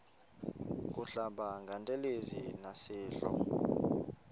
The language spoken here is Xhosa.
kuhlamba ngantelezi nasidlo